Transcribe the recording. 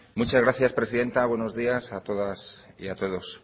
muchas gracias presidenta buenos días a todas y a todos